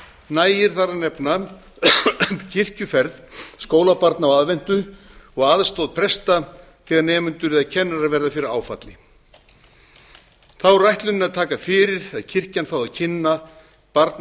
nægir þar að nefna kirkjuferð skólabarna á aðventu og aðstoð presta þegar nemendur eða kennarar verða fyrir áfalli þá er ætlunin að taka fyrir að kirkjan fái að kynna barna og